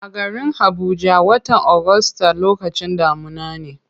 A garin habuja, watan august lokacin damuna ne.